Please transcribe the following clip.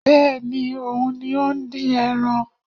Bẹ́ẹ̀ni, òun ni ó ń dín ẹran